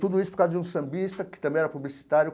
Tudo isso por causa de um sambista que também era publicitário.